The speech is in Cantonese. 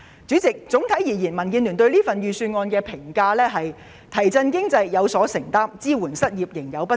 主席，總體而言，民建聯對這份預算案的評價是"提振經濟，有所承擔；支援失業，仍有不足"。